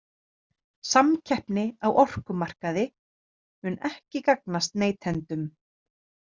„Samkeppni á orkumarkaði“ mun ekki gagnast neytendum.